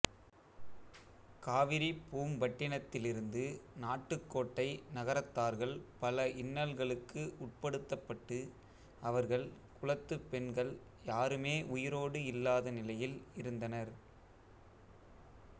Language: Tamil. காவிரிப்பூம்பட்டினத்திலிருந்து நாட்டுக்கோட்டை நகரத்தார்கள் பல இன்னல்களுக்கு உட்படுத்தப்பட்டு அவர்கள் குலத்துப் பெண்கள் யாருமே உயிரோடு இல்லாத நிலையில் இருந்தனர்